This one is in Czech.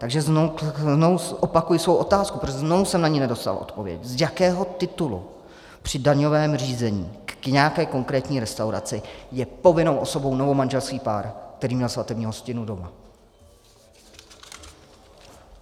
Takže znovu opakuji svou otázku, protože znovu jsem na ni nedostal odpověď: z jakého titulu při daňovém řízení k nějaké konkrétní restauraci je povinnou osobou novomanželský pár, který měl svatební hostinu doma?